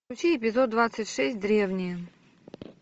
включи эпизод двадцать шесть древние